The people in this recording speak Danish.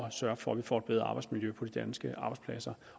at sørge for at vi får et bedre arbejdsmiljø på de danske arbejdspladser